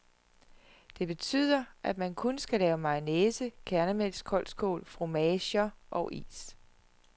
Det betyder, at man kun skal lave mayonnaise, kærnemælkskoldskål, fromager og is.